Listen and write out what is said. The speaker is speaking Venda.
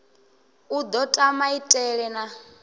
u do ta maiteie na